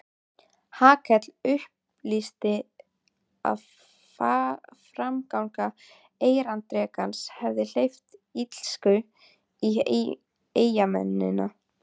Hallkell upplýsti að framganga erindrekans hefði hleypt illsku í eyjamennina.